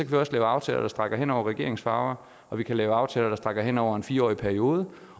vi også lave aftaler der rækker hen over regeringens farver og vi kan lave aftaler der rækker hen over en fireårig periode